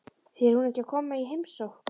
Fer hún ekki að koma í heimsókn?